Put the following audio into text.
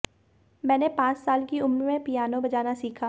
मैंने पांच साल की उम्र में पियानो बजाना सीखा